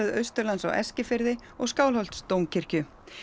Austurlands á Eskifirði og Skálholtsdómkirkju